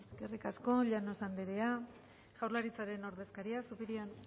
e i te be eskerrik asko llanos andrea jaurlaritzaren ordezkaria zupiria